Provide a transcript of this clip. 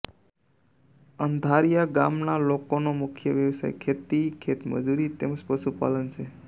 અંધારીયા ગામના લોકોનો મુખ્ય વ્યવસાય ખેતી ખેતમજૂરી તેમ જ પશુપાલન છે